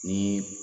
Ni